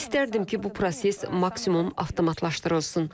İstərdim ki, bu proses maksimum avtomatlaşdırılsın.